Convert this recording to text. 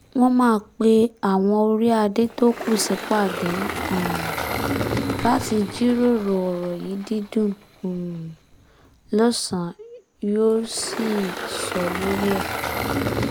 wọ́n máa pe àwọn orí adé tó kù sípàdé um láti jíròrò ọ̀rọ̀ yìí dídùn um lọ́sàn yóò sì sọ lórí ẹ̀